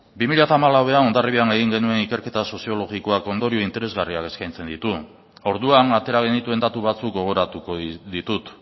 bi mila hamalauan hondarribian egin genuen ikerketa soziologiko ondorio interesgarria eskaintzen ditu orduan atera genituen datu batzuk gogoratuko ditut